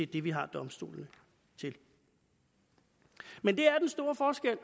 det vi har domstolene til men det er den store forskel